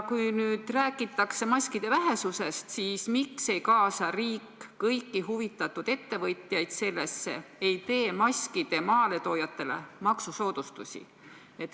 Kui nüüd räägitakse maskide vähesusest, siis miks ei kaasa riik sellesse kõiki huvitatud ettevõtjaid ega tee maskide maaletoojatele maksusoodustusi?